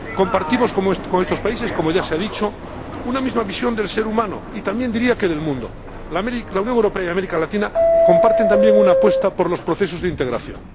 Compartimos con estos países, como ya se ha dicho, una misma visión del ser humano y también diría que del mundo. La Unión Europea y América Latina comparten también una apuesta por los procesos de integración.